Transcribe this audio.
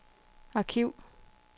arkiv